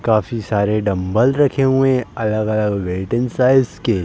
काफी सारे डम्बल रखे हुए हैं अलग-अलग वैटिंग साइज़ के।